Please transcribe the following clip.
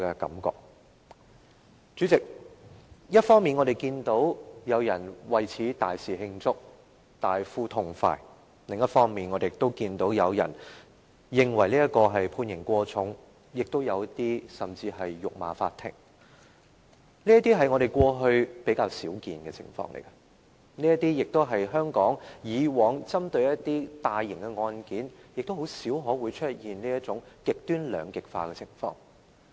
代理主席，一方面，我們看到有人為此大肆慶祝，大呼痛快；另一方面，我們看到有人認為判刑過重，甚至有人辱罵法官，這些是我們過去比較少看到的情況，而香港以往的一些大型案件，亦很少出現這種極端兩極化的情況。